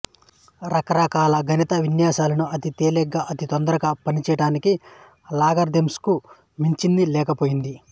రకరకాల గణిత విన్యాసాలను అతి తేలికగా అతి తొందరగా చేయటానికి లాగరిథమ్స్ కు మించింది లేకపోయింది